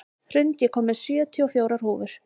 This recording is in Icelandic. Hrund, ég kom með sjötíu og fjórar húfur!